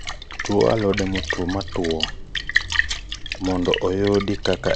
Tue alode motuo go mondo oudi kata ocham gi ndalo maonge koth